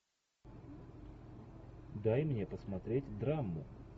дай мне посмотреть драму